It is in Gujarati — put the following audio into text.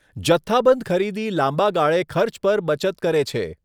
જથ્થાબંધ ખરીદી લાંબા ગાળે ખર્ચ પર બચત કરે છે.